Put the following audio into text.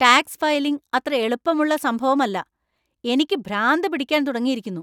Tax filing അത്ര എളുപ്പമുള്ള സംഭവമല്ല , എനിക്ക് ഭ്രാന്ത് പിടിക്കാൻ തുടങ്ങിയിരിക്കുന്നു!